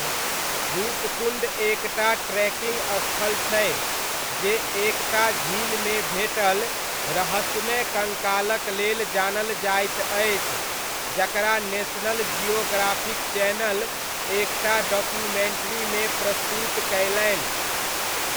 रूपकुण्ड एक टा ट्रेकिङ्ग स्थल छै, जे एक टा झीलमे भेटल रहस्यमय कङ्कालक लेल जानल जाइत अछि, जकरा नेशनल जियोग्राफिक चैनल एक टा डॉक्यूमेण्ट्रीमे प्रस्तुत कयलनि।